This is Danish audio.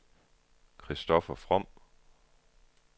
Christoffer From